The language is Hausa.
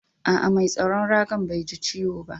Aa, mai tsaron raga'n Bai ji ciwo ba?